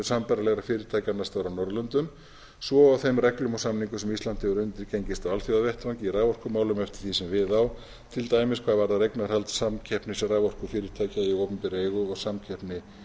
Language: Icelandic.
sambærilegra fyrirtækja annars staðar á norðurlöndum svo og þeim reglum og samningum sem ísland hefur undirgengist á alþjóðavettvangi í raforkumálum eftir því sem við á til dæmis hvað varðar eignarhald samkeppnisraforkufyrirtækja í opinberra eigu og samkeppni